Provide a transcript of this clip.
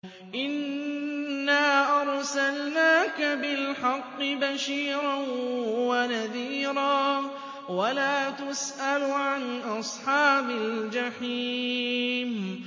إِنَّا أَرْسَلْنَاكَ بِالْحَقِّ بَشِيرًا وَنَذِيرًا ۖ وَلَا تُسْأَلُ عَنْ أَصْحَابِ الْجَحِيمِ